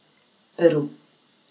Peru.